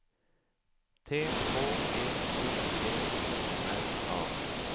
T H E O D O R A